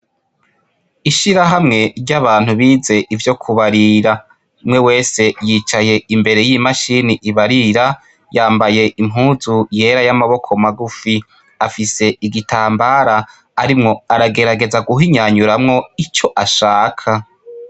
Ishira hamwe ry'abantu bize ivyo kubarira mwe wese yicaye imbere y'imashini ibarira yambaye impuzu yera y'amaboko magufi afise igitambara arimwo aragerageza guhinyanyuramwo ico ashaka.